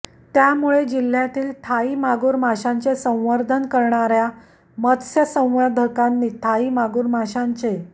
त्यामुळे जिल्ह्यातील थाई मागूर माशांचे संवर्धन करणाऱ्या मत्स्यसंवर्धकांनी थाई मागूर माशांचे